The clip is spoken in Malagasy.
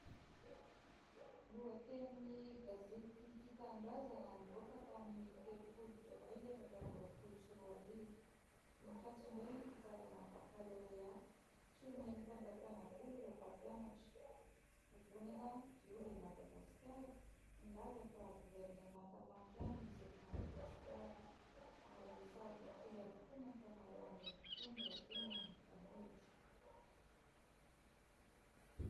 Lohateniny gazety tia tanindrazana nivoaka tamin'ny telopolo jolay efatra amby roapolo sy roa arivo : "nikatso indray ny fitsarana bakalorea tsy omen'ny fanjakana vola ireo mpampianatra", "vovonana diovy Madagasikara milaza fa governemanta mafia no misy eto Madagasikara" ary "saribakoly avokoa ny ankamaroan'ny mpitondra hoy ny mpanohitra".